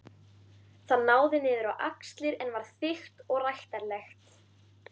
Það náði niður á axlir en var þykkt og ræktarlegt.